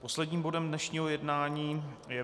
Posledním bodem dnešního jednání je